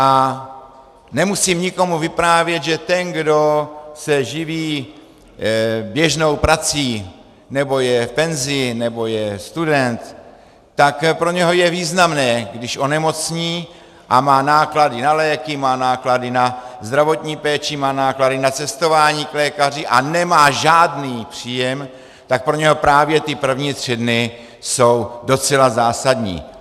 A nemusím nikomu vyprávět, že ten, kdo se živí běžnou prací, nebo je v penzi, nebo je student, tak pro něho je významné, když onemocní a má náklady na léky, má náklady na zdravotní péči, má náklady na cestování k lékaři a nemá žádný příjem, tak pro něho právě ty první tři dny jsou docela zásadní.